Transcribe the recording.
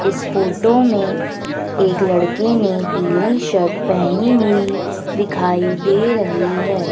इस फोटो में एक लड़की ने पीली शर्ट पहनी हुई दिखाई दे रही है।